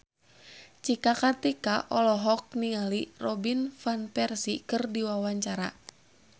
Cika Kartika olohok ningali Robin Van Persie keur diwawancara